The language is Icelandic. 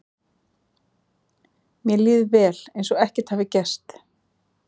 Mér líður vel, eins og ekkert hafi gerst.